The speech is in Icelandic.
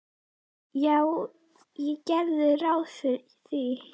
Já, ég geri ráð fyrir því.